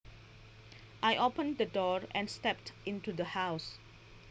I opened the door and stepped into the house